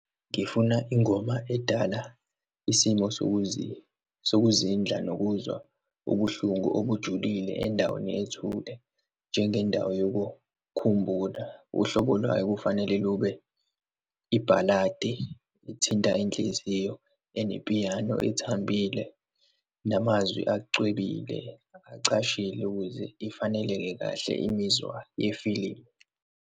Ngifuna ingoma edala isimo sokuzindla nokuzwa ubuhlungu obujulile endaweni ethule, njengendawo yokukhumbula. Uhlobo lwayo kufanele lube i-ballad-i ethinta inhliziyo, enepiyano ethambile, namazwi acwebile, acashile ukuze ifaneleke kahle imizwa yifilimu.